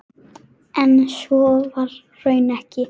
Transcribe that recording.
En svo var raunar ekki.